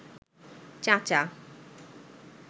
চাচা